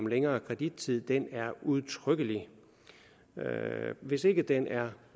længere kredittid er udtrykkelig hvis ikke den er